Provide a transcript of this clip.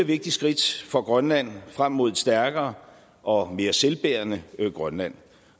vigtigt skridt for grønland frem mod et stærkere og mere selvbærende grønland